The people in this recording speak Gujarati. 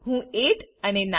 હું 8 અને 9